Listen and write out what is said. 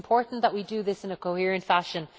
It is important that we do this in a coherent fashion.